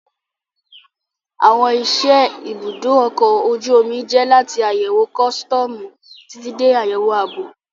Àwọn iṣẹ́ ẹ ibùdó ọkọ̀ ojú omi jẹ́ láti àyẹ̀wò kọ́sítọ̀ọ̀mù títí dé àyẹ̀wò ààbò